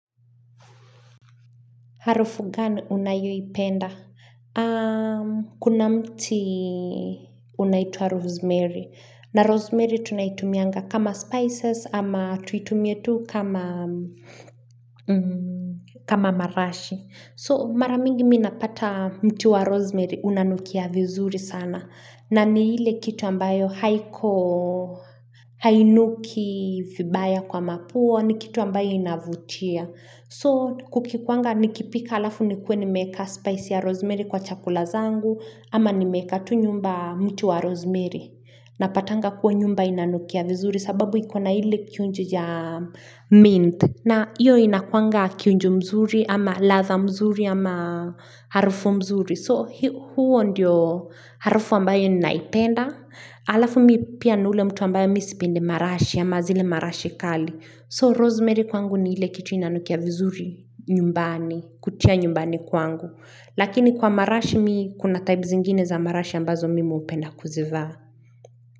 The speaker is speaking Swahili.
Harufu gani unayoipenda? Kuna mti unaitwa rosemary. Na rosemary tunaitumianga kama spices ama tuitumie tu kama marashi. So maramingi mi napata mti wa rosemary unanukia vizuri sana. Na ni ile kitu ambayo haiko hainuki vibaya kwa mapua ni kitu ambayo inavutia. So kukikwanga nikipika alafu nikuwe nimeka spice ya rosemary kwa chakula zangu ama nimeka tu nyumba mti wa rosemary. Napatanga kuwa nyumba inanukia vizuri sababu iko na hile kiunjo ya mint. Na hiyo inakuwanga kiunjo mzuri ama ladha mzuri ama harufu mzuri. So huo ndiyo harufu ambayo ninaipenda. Alafu mi pia ni ule mtu ambayo mi sipende marashi ama zile marashi kali. So, rosemary kwangu ni ile kitu inanukia vizuri nyumbani, kutia nyumbani kwangu. Lakini kwa marashi mi kuna type zingine za marashi ambazo mimi hupenda kuzivaa.